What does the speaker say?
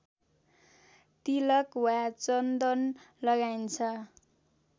तिलक वा चन्दन लगाइन्छ